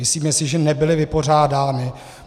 Myslíme si, že nebyly vypořádány.